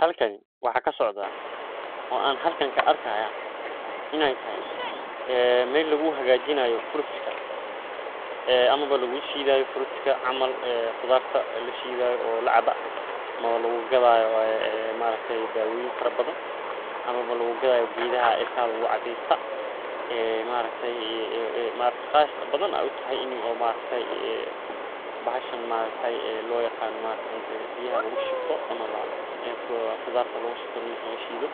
Halkani waxa ka socda, oo aan halkan ka arkayaa, inay tahay, ah, meeli u hagaajiyo fruits ka, ah, ama ba lagu shiidaayo fruits ka. Amma qodarta la shiidayo oo lacaba, ama lagu gadaayo, ah, ma arki daawooyin farabadan. Ama looga gadaayo geedaha ilka lugu wa cadaysta, ah, ma araktii, ah, qaas badan. U tahay inuu, ah, ma araktii,, ah, bahashan, ma araktii,, ah, loo yaqaano ma araktii cunto biya lagu shubto ama ba, ah, qodaarta lagu shubto marka la shiidoo.